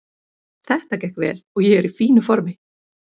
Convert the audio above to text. Það gekk vel og ég er í fínu formi.